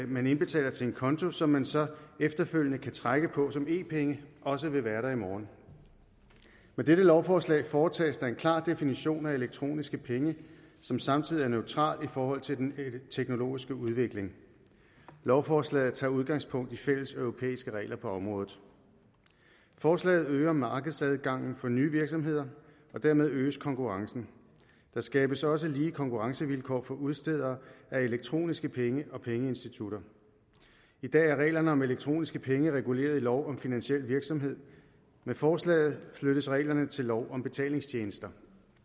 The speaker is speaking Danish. man indbetaler til en konto og som man så efterfølgende kan trække på som e penge også vil være der i morgen med dette lovforslag foretages der en klar definition af elektroniske penge som samtidig er neutral i forhold til den teknologiske udvikling lovforslaget tager udgangspunkt i fælleseuropæiske regler på området forslaget øger markedsadgangen for nye virksomheder og dermed øges konkurrencen der skabes også lige konkurrencevilkår for udstedere af elektroniske penge og pengeinstitutter i dag er reglerne om elektroniske penge reguleret i lov om finansiel virksomhed med forslaget flyttes reglerne til lov om betalingstjenester